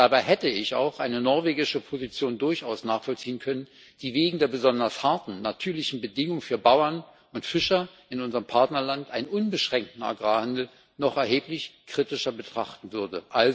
Dabei hätte ich auch eine norwegische Position durchaus nachvollziehen können, die wegen der besonders harten natürlichen Bedingungen für Bauern und Fischer in unserem Partnerland einen unbeschränkten Agrarhandel noch erheblich kritischer betrachten würde.